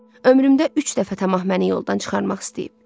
Ömrümdə üç dəfə tamah məni yoldan çıxarmaq istəyib.